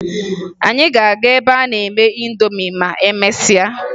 Anyị ga-aga ebe a na-eme ịndomi ma emesịa